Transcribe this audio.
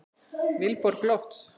Vilborg Lofts.